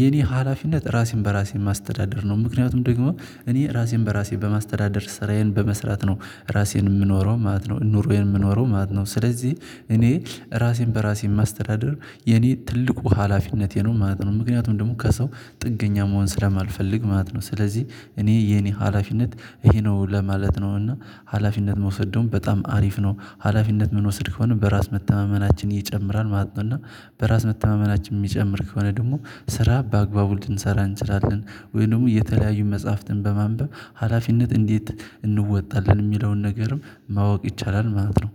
የኔ ሀላፊነት ራሴን በራሴን ማስተዳደር ነው። ምክንያቱም ደግሞ እኔ ራሴን በራሴ በማስተዳደር ስራዬን በመስራት ነው ራሴን የምኖረው ማለት ነው ኑሮዬን የምኖረው ማለት ነው። ስለዚህ እኔ ራሴን በራሴ ማስተዳደር የኔ ትልቁ ሀላፊነቴ ነው ማለት ነው። ምክንያቱም ደግሞ ከሰው ጥገኛ መሆን ስለማልፈልግ ማለት ነው። ስለዚህ እኔ የኔ ሀላፊነት ይሄ ነው ለማለት ነው። እና ሀላፊነት መውሰድ ደግሞ በጣም አሪፍ ነው ሀላፊነት የምንወስድ ከሆነ በራስ መተማመናችን እየጨመራል ማለት ነው። እና በራስ መተማመናችን የሚጨምር ከሆነ ደግሞ ስራ በአግባቡ ልንሰራ እንችላለን። ወይ ደግሞ የተለያዩ መጽሐፍትን በማንበብ ሀላፊነት እንዴት? እንወጣለን የሚለውን ነገርም ማወቅ ይቻላል ማለት ነው